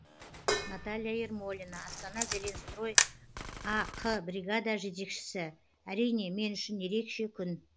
наталья ермолина астана зеленстрой ақ бригада жетекшісі әрине мен үшін ерекше күн